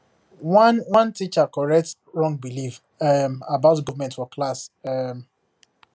one one teacher correct wrong belief um about government for class um